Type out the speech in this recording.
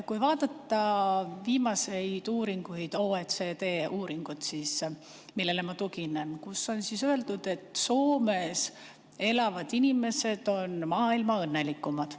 Kui vaadata viimaseid uuringuid, OECD uuringut, millele ma tuginen, siis seal on öeldud, et Soomes elavad inimesed on maailma kõige õnnelikumad.